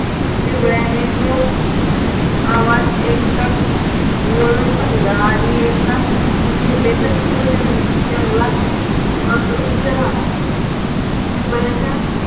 बिबळ्याने तो आवाज ऐकताच वळून पाहिलं आणि एका झेपेतच तो जंगलात अदृश्य झाला बिबळ्याच्या